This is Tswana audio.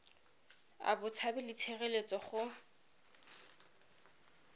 a botshabi le tshireletso go